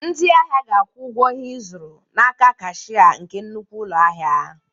Ndị ahịa ga-akwụ ụgwọ ihe ịzụrụ n'aka kashia nke nnukwu ụlọ ahịa.